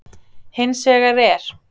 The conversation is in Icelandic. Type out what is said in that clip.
Hins vegar er